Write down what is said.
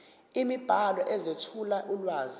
imibhalo ezethula ulwazi